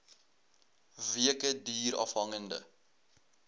weke duur afhangende